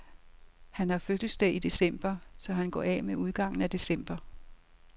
Han har fødselsdag i december, så han går af med udgangen af december.